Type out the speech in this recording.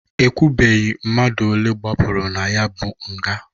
Ekwubeghi mmadụ olee gbapụrụ na ya bụ nga.